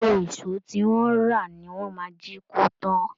Gbogbo èṣọ́ tí wọ́n rà ni wọ́n máa jí kó tán